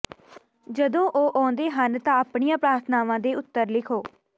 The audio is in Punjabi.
ਜਦੋਂ ਉਹ ਆਉਂਦੇ ਹਨ ਤਾਂ ਆਪਣੀਆਂ ਪ੍ਰਾਰਥਨਾਵਾਂ ਦੇ ਉੱਤਰ ਲਿਖੋ